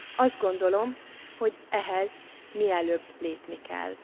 Azt gondolom, hogy ehhez mielőbb lépni kell.